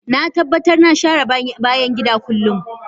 Na tabbatar na share bayan gida kullum